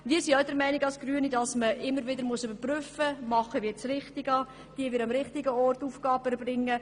Wir sind auch der Meinung, dass man immer wieder überprüfen muss, ob wir das Richtige tun und ob wir die richtigen Aufgaben ausführen.